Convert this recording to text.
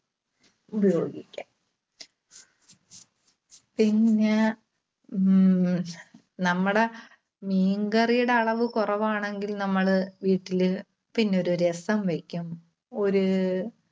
ഉപയോഗിക്കാം. പിന്നെ ഉം നമ്മുടെ മീൻകറിയുടെ അളവ് കുറവാണെങ്കിൽ നമ്മള് വീട്ടില് പിന്നെ ഒരു രസം വെക്കും. ഒരു